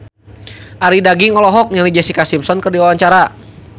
Arie Daginks olohok ningali Jessica Simpson keur diwawancara